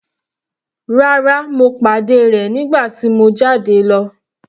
Rárá, mo pàdé rẹ̀ nígbà tí mo jáde lọ.